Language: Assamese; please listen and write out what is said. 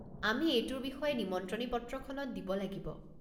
আমি এইটোৰ বিষয়ে নিমন্ত্ৰণী পত্ৰখনত দিব লাগিব।